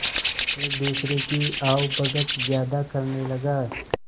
एक दूसरे की आवभगत ज्यादा करने लगा